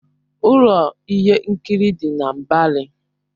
Ụlọ ihe nkiri dị na Mbari.